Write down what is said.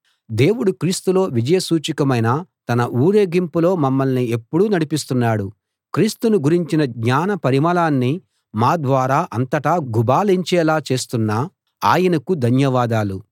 దేవుడు క్రీస్తులో విజయ సూచకమైన తన ఊరేగింపులో మమ్మల్ని ఎప్పుడూ నడిపిస్తున్నాడు క్రీస్తును గురించిన జ్ఞాన పరిమళాన్ని మా ద్వారా అంతటా గుబాళించేలా చేస్తున్న ఆయనకు ధన్యవాదాలు